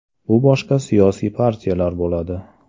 Bu boshqa siyosiy partiyalar bo‘ladi.